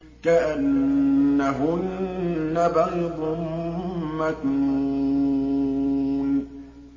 كَأَنَّهُنَّ بَيْضٌ مَّكْنُونٌ